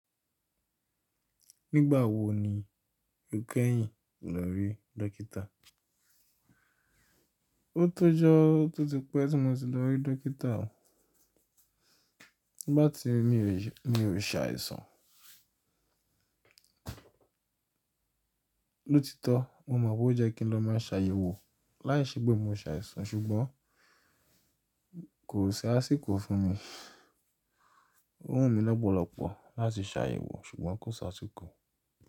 Nígbà wo ni o kẹ́yìn lórí dókítà? O tó jọ tó ti pẹ́ tí mo ti lọ rí dókítà o. Bá ti ri mi ò lè, mi ò lè ṣàìsàn. Lóòtítọ́ mó mọ̀ pé ó jẹ́ kí n lọ máa ṣàyẹ̀wò láìsí pẹ́ mo ṣàìsàn ṣùgbọ́n kò ṣe àsìkò fún mi. Ò wú n mi lọ́ bọ̀lọ̀ pọ̀ láti ṣàyẹ̀wò ṣùgbọ́n kó ṣe àsìkò.